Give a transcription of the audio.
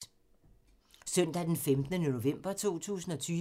Søndag d. 15. november 2020